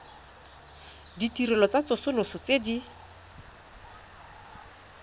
ditirelo tsa tsosoloso tse di